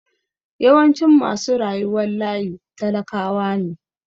Yawancin masu rayuwar layi talakawa ne.